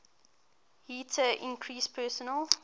heater increases personal